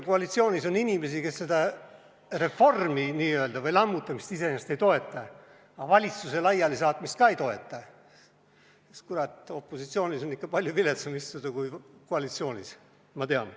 Koalitsioonis on inimesi, kes seda n-ö reformi või lammutamist iseenesest ei toeta, aga valitsuse laialisaatmist ka ei toeta, sest, kurat, opositsioonis on ikka palju viletsam istuda kui koalitsioonis, ma tean.